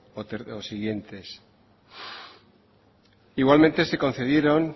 o siguientes igualmente se concedieron